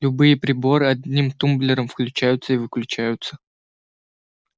любые приборы одним тумблером включаются и выключаются